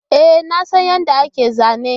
E, na san yadda ake zana